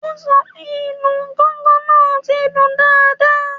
O sọ pé ìlù gángan náà ti ń dún dáadáa